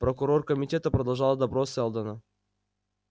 прокурор комитета продолжал допрос сэлдона